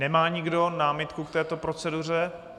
Nemá nikdo námitku k této proceduře?